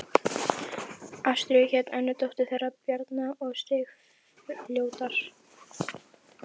Ástríður hét önnur dóttir þeirra Bjarna og Sigurfljóðar.